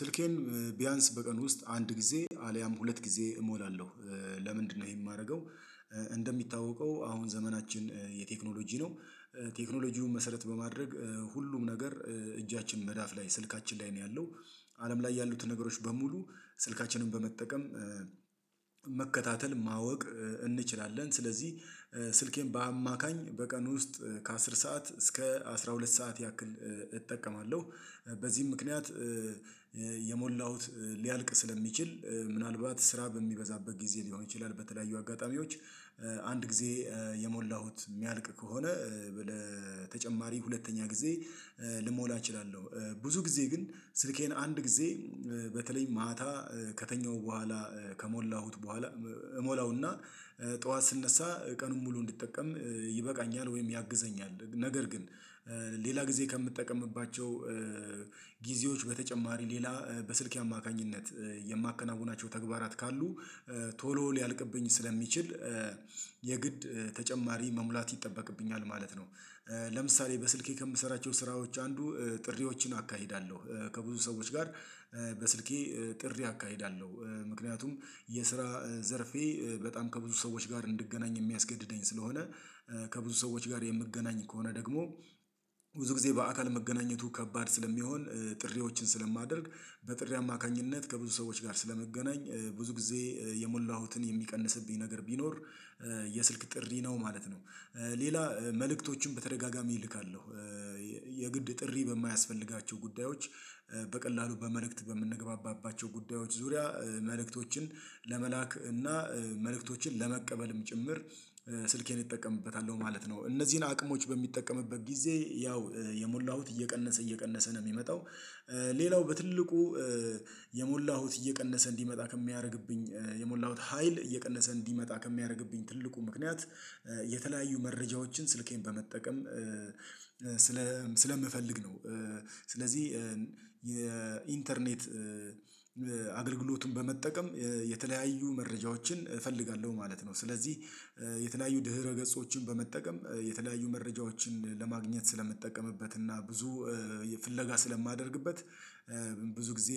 ስልኬን ቢያንስ በቀን ውስጥ አንድ ጊዜ አልያም ሁለት ጊዜ እሞላለሁ ለምንድነው ይሄ የማደርገው? እንደሚታወቀው አሁን ዘመናችን የቴክኖሎጂ ነው። ቴክኖሎጂውን መሰረት በማድረግ ሁሉም ነገር እጃችን መዳፍ ላይ ስልካችን ላይ ነው ያለው። አለም ላይ ያሉትን ነገሮች በሙሉ ስልካችንን በመጠቀም መከታተል ማወቅ እንችላለን ስለዚህ። ስልኬን በአማካኝ በቀን ውስጥ ከአስር ሰዓት እስከ አስራ ሁለት ሰዓት ያክል እጠቀማለሁ። በዚህም ምክንያት የሞላሁት ሊያልቅ ስለሚችል ምናልባት ስራ በሚበዛበት ጊዜ ሊሆን ይችላል በተለያዩ አጋጣሚዎች አንድ ጊዜ የሞላሁት የሚያልቅ ከሆነ በተጨማሪ ሁለተኛ ጊዜ ልሞላ እችላለሁ ብዙ ጊዜ ግን ስልኬን አንድ ጊዜ በተለይ ማታ ከተኛሁ በኋላ ከሞላሁት በኋላ እሞላውና ጠዋት ስነሳ ቀኑን ሙሉ እንዲጠቀም ይበቃኛል ወይም ያግዘኛል ነገር ግን ሌላ ጊዜ ከምትጠቀምባቸው ጊዜዎች በተጨማሪ ሌላ በስልክ አማካኝነት የማከናውናቸው ተግባራት ካሉ ቶሎ ሊያልቅብኝ ስለሚችል የግድ ተጨማሪ መሙላት ይጠበቅብኛል ማለት ነው። ለምሳሌ በስልኬ ከምሰራቸው ስራዎች አንዱ ጥሪዎችን አካሂዳለሁ ከብዙ ሰዎች ጋር በስልኬ ጥሪ አካሂዳለሁ ምክንያቱም የስራ ዘርፌ በጣም ከብዙ ሰዎች ጋር እንድገናኝ የሚያስገድደኝ ስለሆነ ከብዙ ሰዎች ጋር የምገናኝ ከሆነ ደግሞ ብዙ ጊዜ በአካል መገናኘቱ ከባድ ስለሚሆን ጥሪዎችን ስለማደርግ በጥሪ አማካኝነት ከብዙ ሰዎች ጋር ስለመገናኝ ብዙ ጊዜ የሞላሁትን የሚቀንስብኝ ነገር ቢኖር የስልክ ጥሪ ነው ማለት ነው። ሌላ መልእክቶችን በተደጋጋሚ እልካለሁ የግድ ጥሪ በማያስፈልጋቸው ጉዳዮች በቀላሉ በመልእክት በምንገባባቸው ጉዳዮች ዙሪያ መልእክቶችን ለመላክ እና መልእክቶችን ለመቀበልም ጭምር ስልኬን ይጠቀምበታል ማለት ነው። እነዚህን አቅሞች በሚጠቀምበት ጊዜ ያው የሞላሁት እየቀነሰ እየቀነሰ ነው የሚመጣው ሌላው በትልቁ የሞላሁት እየቀነሰ እንዲመጣ ከሚያደርግብኝ የሞላሁት ሀይል እየቀነሰ እንዲመጣ ከሚያደርግብኝ ትልቁ ምክንያት የተለያዩ መረጃዎችን ስልኬን በመጠቀም ስለምፈልግ ነው። ስለዚህ የኢንተርኔት አገልግሎቱን በመጠቀም መረጃዎችን እፈልጋለሁ ማለት ነው። ስለዚህ የተለያዩ ድህረ ገጾችን በመጠቀም የተለያዩ መረጃዎችን ለማግኘት ስለምትጠቀምበት እና ብዙ ፍለጋ ስለማደርግበት ብዙ ጊዜ